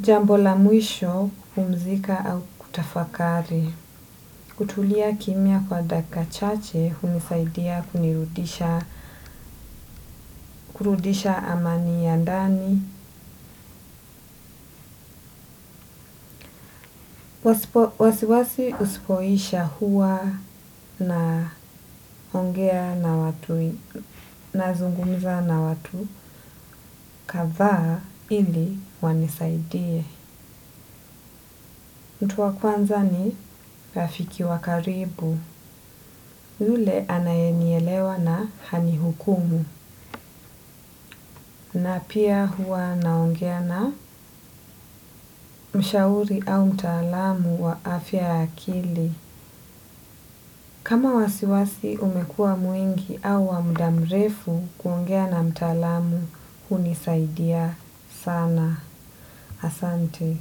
Jambo la mwisho, kupumzika au kutafakari. Kutulia kimia kwa daka chache, hunisaidia kunirudisha, kurudisha amani ya ndani. Wasiwasi usipoisha huwa naongea na watu, nazungumza na watu, kadhaa ili wanisaidie. Mtu wa kwanza ni rafiki wa karibu, ule anayenielewa na hani hukumu, na pia huwa naongea na mshauri au mtaalamu wa afya ya akili. Kama wasiwasi umekua mwingi au wa muda mrefu kuongea na mtalamu, huni saidia sana. Asante.